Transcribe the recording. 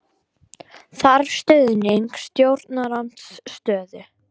Þarf stuðning stjórnarandstöðu